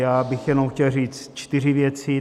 Já bych jenom chtěl říct čtyři věci.